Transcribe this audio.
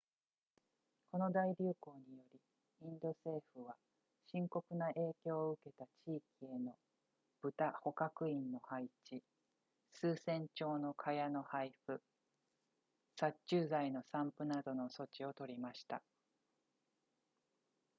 この大流行によりインド政府は深刻な影響を受けた地域への豚捕獲員の配置数千張の蚊帳の配布殺虫剤の散布などの措置をとりました